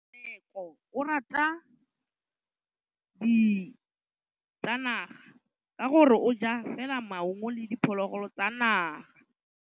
Tshekô o rata ditsanaga ka gore o ja fela maungo le diphologolo tsa naga.